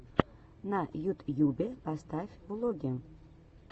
на ютьюбе поставь влоги